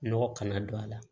Nɔgɔ kana don a la